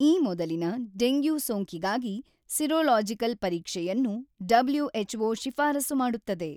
ಈ ಮೊದಲಿನ ಡೆಂಗ್ಯೂ ಸೋಂಕಿಗಾಗಿ ಸಿರೊಲಾಜಿಕಲ್ ಪರೀಕ್ಷೆಯನ್ನು ಡಬ್ಲ್ಯು.ಎಚ್.ಓ. ಶಿಫಾರಸು ಮಾಡುತ್ತದೆ